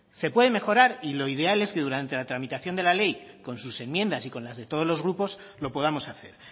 se puede mejorar y lo ideal es que durante la tramitación de la ley con sus enmiendas y con las de todos los grupos lo podamos hacer